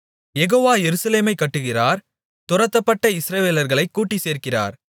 யெகோவா எருசலேமைக் கட்டுகிறார் துரத்தப்பட்ட இஸ்ரவேலர்களைக் கூட்டிச் சேர்க்கிறார்